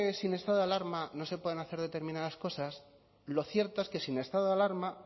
sin estado de alarma no se pueden hacer determinadas cosas lo cierto es que sin estado de alarma